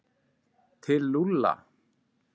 Til Lúlla?